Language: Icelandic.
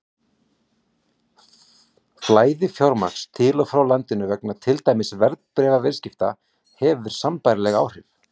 Flæði fjármagns til og frá landinu vegna til dæmis verðbréfaviðskipta hefur sambærileg áhrif.